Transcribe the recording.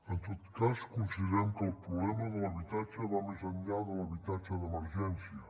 en tot cas considerem que el problema de l’habitatge va més enllà de l’habitatge d’emergència